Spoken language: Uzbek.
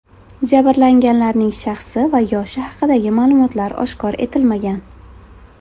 Jabrlanganlarning shaxsi va yoshi haqidagi ma’lumotlar oshkor etilmagan.